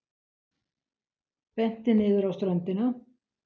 Benti niður á ströndina.